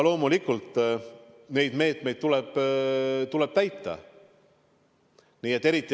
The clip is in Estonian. Loomulikult neid reegleid tuleb täita.